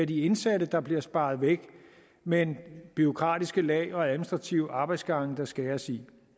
de indsatte der bliver sparet væk men at bureaukratiske lag og administrative arbejdsgange der skæres i